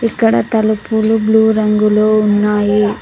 ఇక్కడ తలుపులు బ్లూ రంగులో ఉన్నాయి.